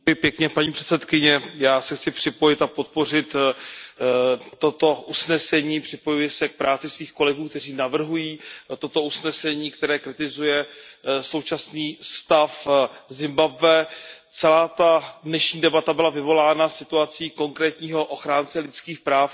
Paní předsedající, já se chci připojit a podpořit toto usnesení, připojuji se k práci svých kolegů, kteří navrhují toto usnesení, které kritizuje současný stav Zimbabwe. Celá ta dnešní debata byla vyvolána situací konkrétního ochránce lidských práv